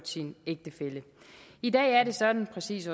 sin ægtefælle i dag er det sådan præcis